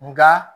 Nka